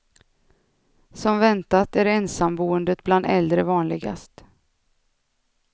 Som väntat är ensamboendet bland äldre vanligast.